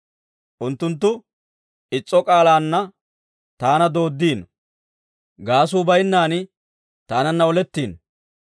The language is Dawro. Unttunttu is'o k'aalaanna taana dooddiino; gaasuu bayinnan taananna oletiino.